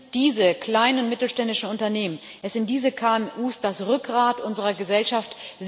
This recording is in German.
Es sind diese kleinen und mittelständischen Unternehmen, es sind diese KMU das Rückgrat unserer Gesellschaft.